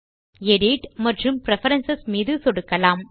நாம் எடிட் மற்றும் பிரெஃபரன்ஸ் மீது சொடுக்கலாம்